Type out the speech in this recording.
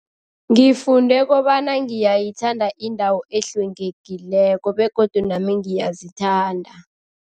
Ngifunde kobana ngiyayithanda indawo ehlwengekileko begodu nami ngiyazithanda.